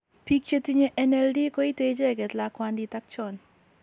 Biik chetinye NALD koite icheget lakwandit ak chon